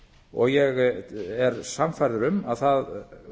og ég er sannfærður um að það